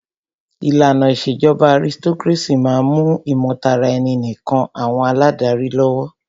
ìlànà ìṣèjọba aristocrácy máà ń mú ìmọ̀taraẹni nìkàn àwọn aládarí lọ́wọ́.